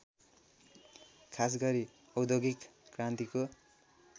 खासगरी औद्योगिक क्रान्तिको